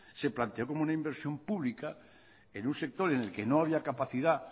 se planteó como una inversión pública en un sector en el que no había capacidad